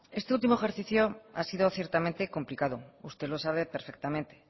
este último ejercicio ha sido ciertamente complicado usted lo sabe perfectamente